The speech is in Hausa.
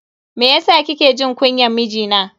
Meyasa kike jin kunyan mijina?